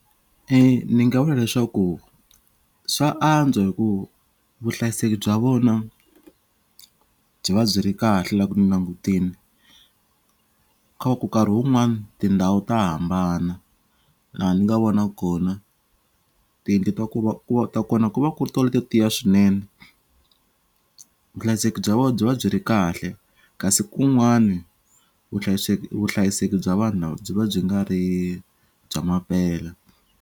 E ni nga vula leswaku swa antswa hi ku vuhlayiseki bya vona byi va byi ri kahle loko ni langutini ko va ku karhi wun'wani tindhawu ta hambana laha ni nga vona kona tiyindlu ta ku va ku va ta kona ku va ku ri tona to tiya swinene vuhlayiseki bya vona byi va byi ri kahle kasi kun'wani vuhlayiseki vuhlayiseki bya vanhu lava byi va byi nga ri bya mampela.